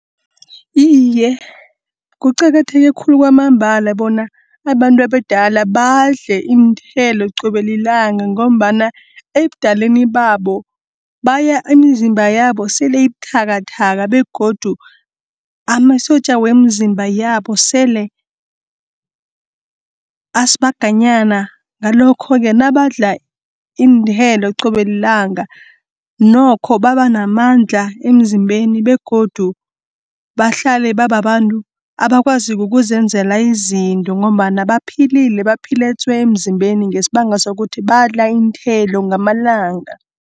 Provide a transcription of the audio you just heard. Iye kuqakatheke khulu kwamambala bona abantu abadala badle iinthelo qobe lilanga, ngombana ebudaleni babo imizimba yabo sele ubuthakathaka begodu amasotja wemzimba yabo sele asibaganyana. Ngalokho-ke nabadla iinthelo qobellanga nokho babanamandla emzimbeni, begodu bahlale babantu abakwaziko ukuzenzela izinto, ngombana baphilile baphile tswe! emzimbeni ngesibanga sokuthi badla iinthelo ngamalanga.